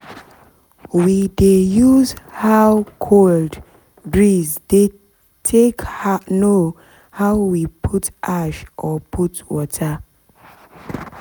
we dey use how cold breeze dey take [?.] know make we put ash or put water